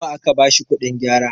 nawa aka bashi kuɗin gyara?